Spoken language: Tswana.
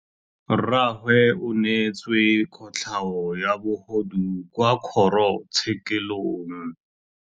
Rragwe o neetswe kotlhaô ya bogodu kwa kgoro tshêkêlông.